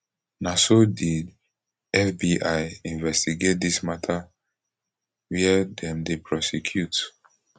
na so did fbi investigate dis mata wia dem dey prosecute